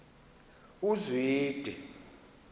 uzwide